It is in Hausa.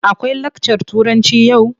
Akwai lakcar Turanci yau?